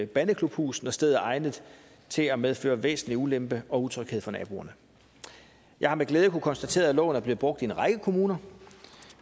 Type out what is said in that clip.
bandeklubhus når stedet er egnet til at medføre væsentlig ulempe og utryghed for naboerne jeg har med glæde kunnet konstatere at loven er blevet brugt i en række kommuner